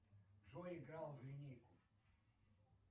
джой игра в линейку